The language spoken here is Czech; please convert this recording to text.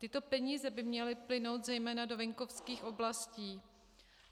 Tyto peníze by měly plynout zejména do venkovských oblastí.